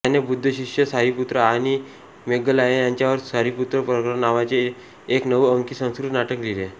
त्याने बुद्धशिष्य सारीपुत्र आणि मोग्गलायन यांच्यावर सारीपुत्त प्रकरण नावाचे एक नऊ अंकी संस्कृत नाटक लिहिले